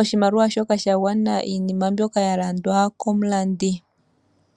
oshimaliwa shoka sha gwana iinima mbyoka ya landwa komulandi.